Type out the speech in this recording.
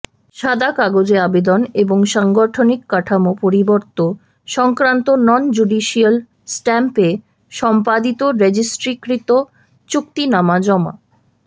সাদা কাগজে আবেদন এবং সাংগঠনিক কাঠামো পরিবর্ত সংক্রান্ত নন জুডিসিয়াল স্ট্যাম্পে সম্পাদিত রেজিস্ট্রিকৃত চুক্তিনামা জমা